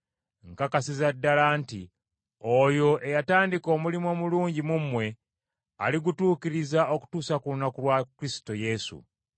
Nkakasiza ddala nti oyo eyatandika omulimu omulungi mu mmwe, aligutuukiriza okutuusa ku lunaku lwa Kristo Yesu.